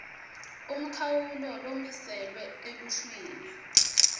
umkhawulo lomiselwe eluhlwini